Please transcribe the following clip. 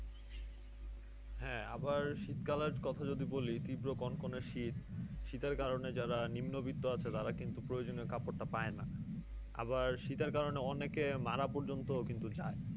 হ্যাঁ আবার শীতকালের কথা যদি বলি তীব্র কনকনে শীত। শীতের কারণে যারা নিম্নবিত্ত আছে তারা কিন্তু প্রয়োজনীয় কাপড়টা পায় না। আবার শীতের কারণে অনেকে মারা পর্যন্ত কিন্তু যায়।